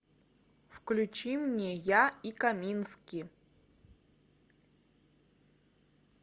включи мне я и камински